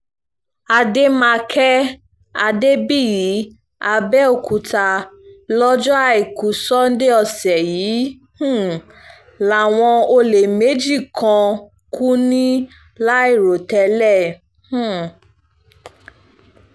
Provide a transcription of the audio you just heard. àdèmàkè adébíyì abẹ́ọ̀kúta lọ́jọ́ àìkú sánńdé ọ̀sẹ̀ yìí um làwọn olè méjì kan kú ní láìrò tẹ́lẹ̀ um